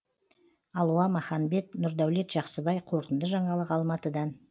алуа маханбет нұрдәулет жақсыбай қорытынды жаңалық алматыдан